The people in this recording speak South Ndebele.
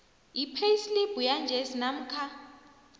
ipheyisilibhu yanjesi namkha